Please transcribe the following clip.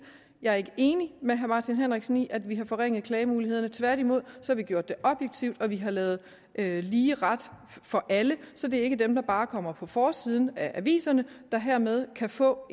jeg ikke er enig med herre martin henriksen i at vi har forringet klagemulighederne tværtimod har vi gjort det objektivt og vi har lavet lavet lige ret for alle så det er ikke dem der bare kommer på forsiden af aviserne der hermed kan få